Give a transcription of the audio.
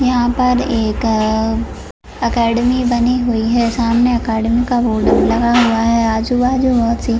यहाँ पर एक अकैडमी बनी हुवी है सामने अकैडेमी का बोर्ड लगा हुवा है आजुबाजु बहुत सी--